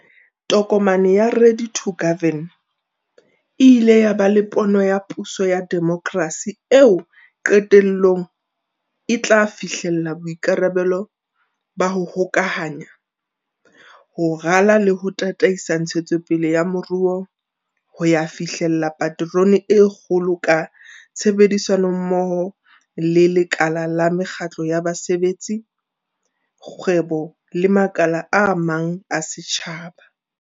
Tokomane ya, Ready to Govern, e ile ya ba le pono ya puso ya demokrasi eo qetellong e tla fihlella boikarabelo ba 'ho hokahanya, ho rala le ho tataisa ntshetsopele ya moruo ho ya fihlella paterone ya kgolo ka tshebedisanommoho le lekala la mekgatlo ya basebetsi, kgwebo le makala a mang a setjhaba.